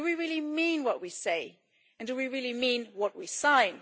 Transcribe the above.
Do we really mean what we say, and do we really mean what we sign?